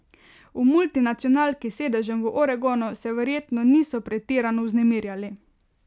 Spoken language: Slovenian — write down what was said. V multinacionalki s sedežem v Oregonu se verjetno niso pretirano vznemirjali.